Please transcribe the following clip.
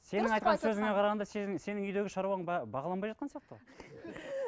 сенің айтқан сөзіңе қарағанда сенің үйдегі шаруаң бағаланбай жатқан сияқты ғой